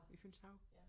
I Fynshav